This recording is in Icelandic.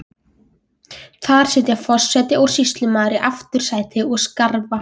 Þar sitja forseti og sýslumaður í aftursæti og skrafa.